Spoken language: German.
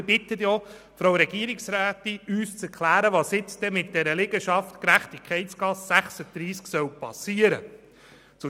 Ich bitte die Regierungsrätin gleichzeitig, uns zu erklären, was mit der Liegenschaft Gerechtigkeitsgasse 36 geschehen soll.